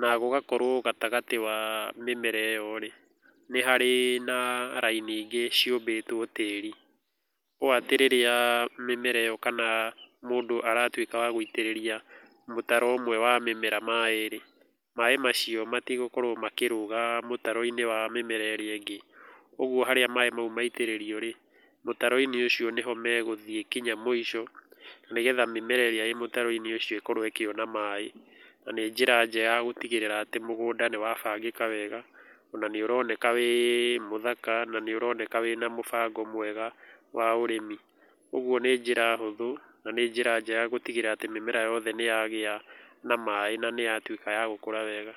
na gũgakorũo gatagatĩ wa mĩmera ĩyo rĩ, nĩ harĩ na raini ingĩ ciũmbĩtũo tĩĩri. Ũũ atĩ rĩrĩa mĩmera ĩyo kana mũndũ aratuĩka wa gũitĩrĩria mũtaro ũmwe wa mĩmera maĩ rĩ, maĩ macio matigũkorũo makĩrũga mũtaro-inĩ wa mĩmera ĩrĩa ĩngĩ. Ũguo harĩa maĩ macio maitĩrĩrio rĩ, mũtaro-inĩ ũcio nĩho megũthiĩ nginya mũico, nĩgetha mĩmera ĩrĩa ĩĩ mũtaro-inĩ ũcio ĩkorũo ĩkĩona maĩ. Na nĩ njĩra njega ya gũtigĩrĩra atĩ mũgũnda nĩ wa bangĩka wega , ona nĩ ũroneka wĩ mũthaka nĩ ũroneka wĩna mũbango mwega wa ũrĩmi. Ũguo nĩ njĩra hũthũ na nĩ njĩra njega gũtigĩrĩra atĩ mĩmera yothe nĩ yagĩa na maĩ na nĩ yatuĩka ya gũkũra wega.